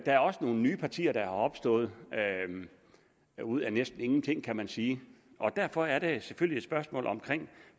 er også nogle nye partier der er opstået ud af næsten ingenting kan man sige og derfor er der selvfølgelig et spørgsmål omkring